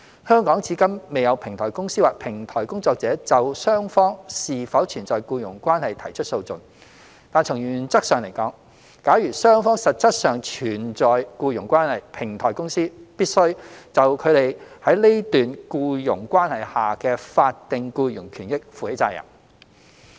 香港至今未有平台公司或平台工作者就雙方是否存在僱傭關係提出訴訟，但從原則上來說，假如雙方實質上存在僱傭關係，平台公司必須就他們在該段僱傭關係下的法定僱傭權益負起責任。